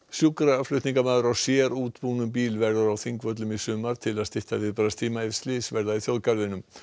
sjúkraflutningamaður á sérútbúnum bíl verður á Þingvöllum í sumar til að stytta viðbragðstíma ef slys verða í þjóðgarðinum